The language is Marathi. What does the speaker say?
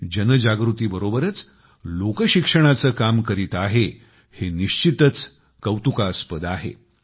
जनजागृती बरोबरच लोकशिक्षणाचे काम करीत आहे हे निश्चितच कौतुकास्पद आहे